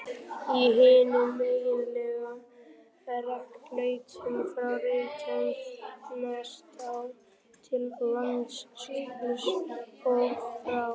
Í hinum eiginlegu rekbeltum, frá Reykjanestá til Langjökuls, og frá